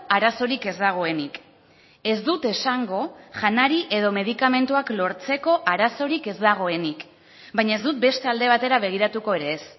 arazorik ez dagoenik ez dut esango janari edo medikamentuak lortzeko arazorik ez dagoenik baina ez dut beste alde batera begiratuko ere ez